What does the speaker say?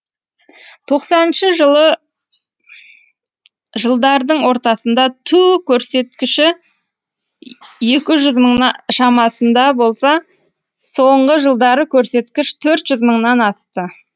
тоқсаныншы жылы жылдардың ортасында туу көрсеткіші екі жүз мыңның шамасында болса соңғы жылдары көрсеткіш төрт жүз мыңнан асты